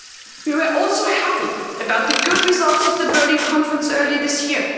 We were also happy about the good results of the Berlin Conference earlier this year.